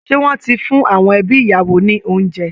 Ṣé wọ́n ti fún awọn ẹbi ìyàwó ní oúnjẹ?